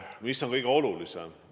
Mis on kõige olulisem?